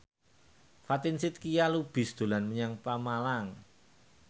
Fatin Shidqia Lubis dolan menyang Pemalang